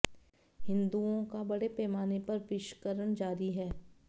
हिंदुओं का बड़े पैमाने पर विषकरण जारी है